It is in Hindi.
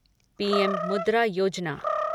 पीएम मुद्रा योजना